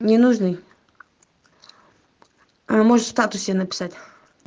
не нужны а может в статусе написать